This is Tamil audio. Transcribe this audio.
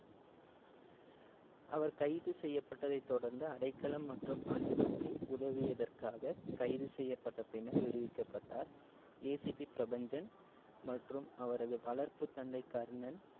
அவர் கைது செய்யப்பட்டதை தொடர்ந்து அடைக்களம் மற்றும் அன்புக்கு உதவியதற்காக கைது செய்யப்பட்ட பின்னர் விடுவிக்கப்பட்டார். ACP பிரபஞ்சன் மற்றும் அவரது வளர்ப்பு தந்தை கர்ணன்.